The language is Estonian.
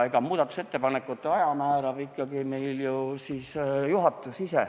Muudatusettepanekute aja määrab meil ikkagi juhatus.